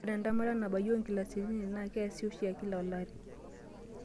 Ore entemata nabayie oonkilasini isiet naa keesi oshi kila olari.